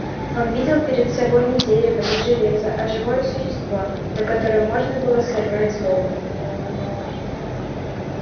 он видел перед собой не дерево не железо а живое существо на котором можно было сорвать злобу